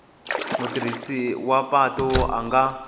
mutirhisi wa patu a nga